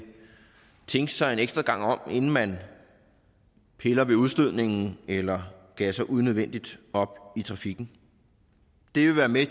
tænke sig ekstra gang om inden man piller ved udstødningen eller gasser unødvendigt op i trafikken det vil være med